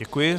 Děkuji.